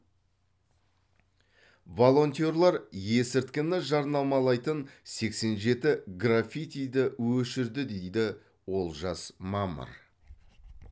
волонтерлер есірткіні жарнамалайтын сексен жеті граффитиді өшірді дейді олжас мамыр